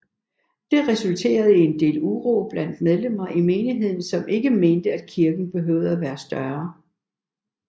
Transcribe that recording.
Det resulterede i en del uro blandt medlemmer i menigheden som ikke mente at kirken behøvede at være større